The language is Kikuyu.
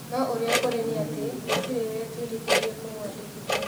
No ũrĩa kũrĩ nĩ atĩ gũtĩrĩ wetirithirie kũmũandĩkĩthia